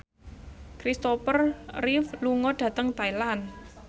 Christopher Reeve lunga dhateng Thailand